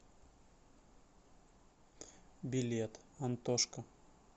билет антошка